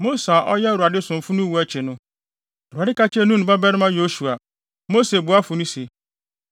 Mose a ɔyɛ Awurade somfo no wu akyi no, Awurade ka kyerɛɛ Nun babarima Yosua, Mose boafo no se,